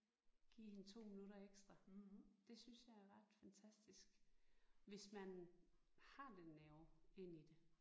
Give hende 2 minutter ekstra. Det synes jeg er ret fantastisk hvis man har den nerve ind i det